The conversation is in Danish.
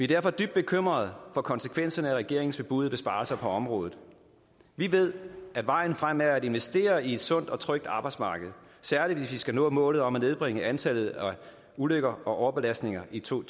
derfor dybt bekymrede for konsekvenserne af regeringens bebudede besparelser på området vi ved at vejen frem er at investere i et sundt og trygt arbejdsmarked særlig hvis vi skal nå målet om at nedbringe antallet af ulykker og overbelastninger i to